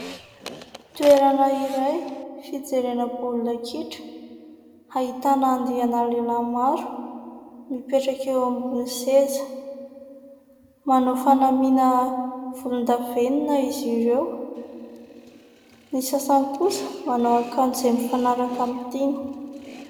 Toerana iray fijerena baolina kitra, ahitana andiana lehilahy maro mipetraka eo amin'ny seza, manao fanamiana volondavenona izy ireo, ny sasany kosa manao akanjo izay mifanaraka aminy tiany.